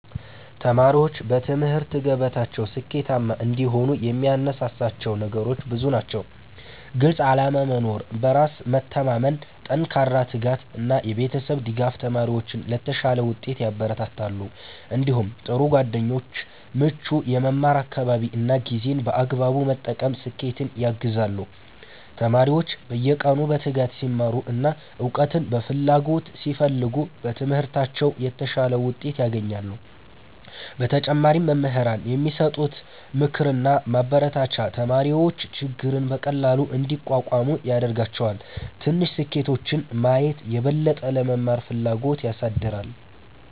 1ተማሪዎች በትምህርት ገበታቸው ስኬታማ እንዲሆኑ የሚያነሳሳቸው ነገሮች ብዙ ናቸው። ግልፅ ዓላማ መኖር፣ በራስ መተማመን፣ ጠንካራ ትጋት እና የቤተሰብ ድጋፍ ተማሪዎችን ለተሻለ ውጤት ያበረታታሉ። እንዲሁም ጥሩ ጓደኞች፣ ምቹ የመማር አካባቢ እና ጊዜን በአግባቡ መጠቀም ስኬትን ያግዛሉ። ተማሪዎች በየቀኑ በትጋት ሲማሩ እና እውቀትን በፍላጎት ሲፈልጉ በትምህርታቸው የተሻለ ውጤት ያገኛሉ። በተጨማሪም መምህራን የሚሰጡት ምክርና ማበረታቻ ተማሪዎች ችግርን በቀላሉ እንዲቋቋሙ ያደርጋቸዋል። ትንሽ ስኬቶችን ማየትም የበለጠ ለመማር ፍላጎት ያሳድጋል።